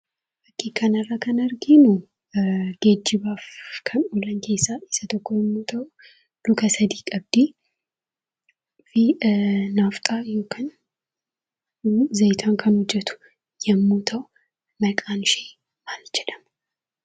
Fakii kana irraa kan arginu geejjibaaf kan oolu keessaa isa tokko yoo ta'u luka sadi qabdi naafxaa yookiin beenzilaan kan hojjetu yoo ta'u maqaan ishii maal jedhama?